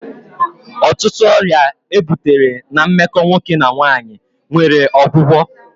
Ọtụtụ ọrịa e butere na meko nwoke na nwanyị nwere ọgwụgwọ